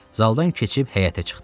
Zaldan keçib həyətə çıxdılar.